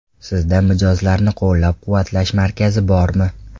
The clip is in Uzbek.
Sizda mijozlarni qo‘llab-quvvatlash markazi bormi?